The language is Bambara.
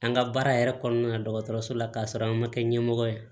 An ka baara yɛrɛ kɔnɔna na dɔgɔtɔrɔso la k'a sɔrɔ an ma kɛ ɲɛmɔgɔ ye